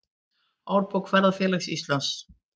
Árbók Ferðafélags Íslands.